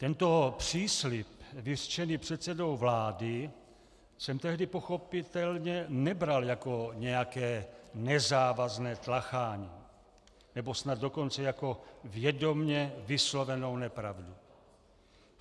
Tento příslib vyřčený předsedou vlády jsem tehdy pochopitelně nebral jako nějaké nezávazné tlachání, nebo snad dokonce jako vědomě vyslovenou nepravdu.